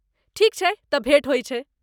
ठीक छै, तँ भेट होइ छै।